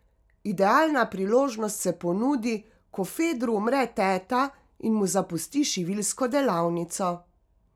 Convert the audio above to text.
Idealna priložnost se ponudi, ko Fedru umre teta in mu zapusti šiviljsko delavnico.